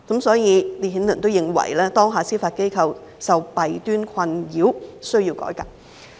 "所以，烈顯倫認為當下司法機構受弊端困擾，需要改革。